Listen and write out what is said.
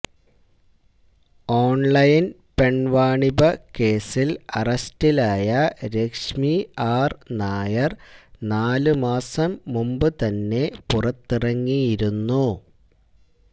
online പെണ്വാണിഭ കേസില് അറസ്റ്റിലായ രശ്മി ആര് നായര് നാല് മാസം മുമ്പ് തന്നെ പുറത്തിറങ്ങിയിരുന്നു